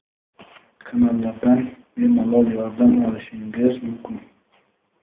kanallardan bemalol yordam olishingiz mumkin.